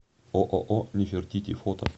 ооо нефертити фото